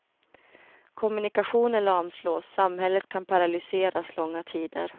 Kommunikationer lamslås, samhället kan paralyseras långa tider.